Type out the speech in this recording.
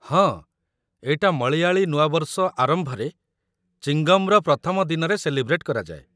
ହଁ, ଏଇଟା ମଳୟାଳି ନୂଆବର୍ଷ ଆରମ୍ଭରେ, ଚିଙ୍ଗମ୍‌ର ୧ମ ଦିନରେ ସେଲିବ୍ରେଟ୍ କରାଯାଏ ।